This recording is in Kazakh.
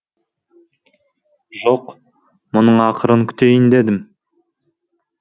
жоқ мұның ақырын күтейін дедім